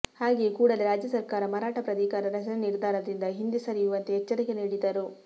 ಹಾಗೆಯೇ ಕೂಡಲೇ ರಾಜ್ಯ ಸರ್ಕಾರ ಮರಾಠ ಪ್ರಾಧಿಕಾರ ರಚನೆ ನಿರ್ಧಾರದಿಂದ ಹಿಂದೆ ಸರಿಯುವಂತೆ ಎಚ್ಚರಿಕೆ ನೀಡಿದರು